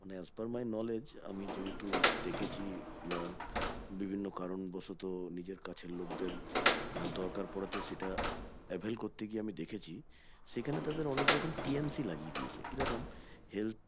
মানে As per my knowledge আমি যেহেতু দেখেছি আহ বিভিন্ন কারণ বশত নিজের কাছের লোকদের আহ দরকার পড়াতে সেটা avail করতে গিয়ে আমি দেখেছি সেখানে তাদের অনেক রকম TNC লাগিয়ে দিয়েছে কিরকম